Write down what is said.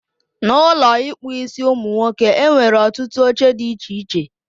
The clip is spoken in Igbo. N'Ụlọ ịkpụ isiụmụnwoke, enwere ọtụtụ oche dị iche iche